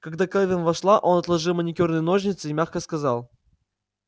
когда кэлвин вошла он отложил маникюрные ножницы и мягко сказал